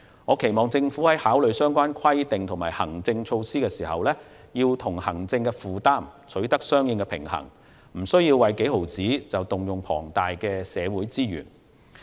我期望政府考慮相關規定和行政措施時，要與行政負擔取得平衡，避免為微不足道的金額而動用龐大的社會資源。